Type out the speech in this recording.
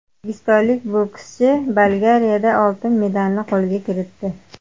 O‘zbekistonlik bokschi Bolgariyada oltin medalni qo‘lga kiritdi.